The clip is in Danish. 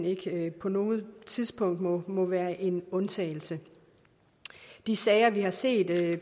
ikke på noget tidspunkt må må være en undtagelse de sager vi har set